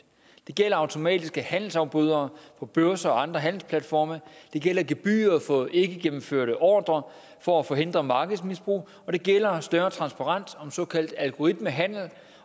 det gælder automatiske handelsafbrydere på børser og andre handelsplatforme det gælder gebyrer for ikkegennemførte ordrer for at forhindre markedsmisbrug og det gælder større transparens om såkaldt algoritmehandel